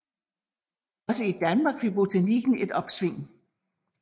Også i Danmark fik botanikken et opsving